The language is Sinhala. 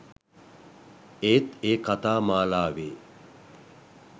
ඒත් ඒ කතා මාලාවේ